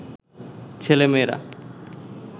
ছেলে-মেয়েরা